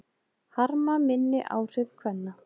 Harma minni áhrif kvenna